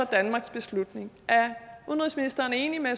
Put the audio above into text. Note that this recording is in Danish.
danmarks beslutning er udenrigsministeren enig med